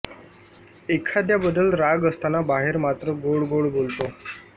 एखाद्याबद्दल राग असताना बाहेर मात्र गोड गोड बोलतो